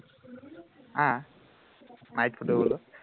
আহ হাঁহিত ফটো তোলো